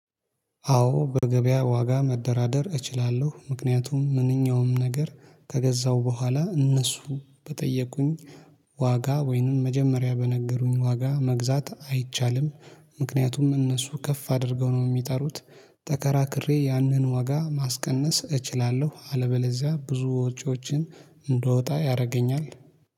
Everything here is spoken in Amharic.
አዎ በገበያ ዋጋ መደራደር እችላለሁ። ምክንያቱም ምንኛውም ነገር ከገዛው በኋላ እነሱ በጠየቁኝ ዋጋ ወይንም መጀመሪያ በነገሩኝ ዋጋ መግዛት አይቻልም። ምክንያቱም እነሱ ከፍ አድርገው ነው የሚጠሩት ተከራክሬ ያንን ዋጋ ማስቀነስ እችላለሁ። አለበለዚያ ብዙ ወጪዎችን እንዳወጣ ያደርገኛል።